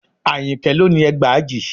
Àyìnkẹ́ ló ni ẹgbàajì